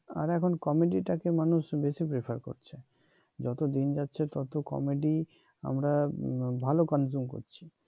আর এখন কমেডি টাকে মানুষ বেশি prefer করছে যত দিন যাচ্ছে তত কমেডি আমরা ভাল consume করছি